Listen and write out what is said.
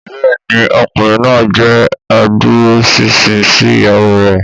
Bẹ́ẹ̀ni, ọkùnrin náà jẹ́ adúróṣinṣin sí ìyàwó rẹ̀